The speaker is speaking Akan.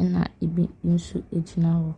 ɛnna ebi nso gyina hɔ.